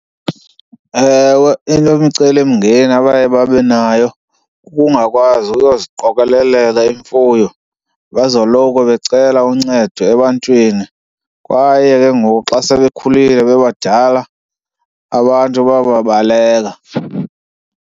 Ewe, enye imicelimngeni abaye babe nayo kukungakwazi uyoziqokolela imfuyo bezoloko becela uncedo ebantwini. Kwaye ke ngoku xa sebekhulile bebadala, abantu bayababaleka.